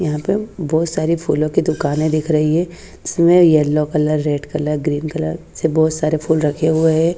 यहां पे बहोत सारे फूलों की दुकाने दिख रही है इसमें yellow colour red colour green colour से बहोत सारे फूल रखे हुए हैं।